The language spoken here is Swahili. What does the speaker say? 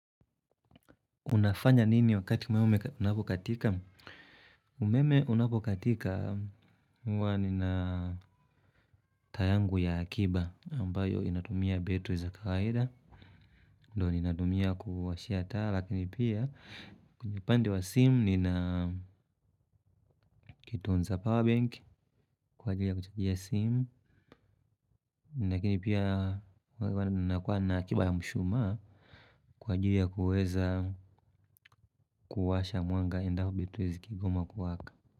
Unafanya nini wakati umeme unapokatika? Umeme unapokatika huwa nina taa yangu ya akiba ambayo inatumia betri za kawaida. Ndio ninatumia kuwashia taa lakini pia kwenye upande wa simu nina kitunza pawabenki kwa ajili ya kuchajia simu. Lakini pia huwa nakuwa na akiba ya mshumaa kwa ajili ya kuweza kuwasha mwanga endapo betri zikigoma kuwaka.